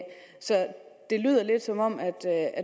så det lyder lidt som om